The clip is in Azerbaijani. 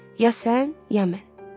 Ya sən, ya mən.